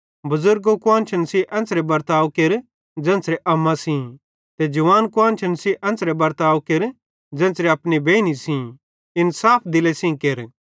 बुढी कुआन्शन सेइं एन्च़रे बर्ताव केर ज़ेन्च़रे अम्मा सेइं ते जवान कुआन्शन सेइं एन्च़रे बर्ताव केर ज़ेन्च़रे अपने बेइनी सेइं इन साफ दिले सेइं केर